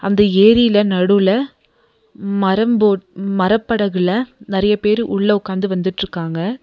அந்த ஏரியில நடுவுல மரம் போட் மரப்படகுல நறைய பேர் உள்ள உக்காந்து வந்துட்ருக்காங்க.